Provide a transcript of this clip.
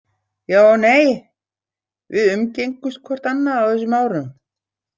Já og nei, við umgengumst hvort annað á þessum árum.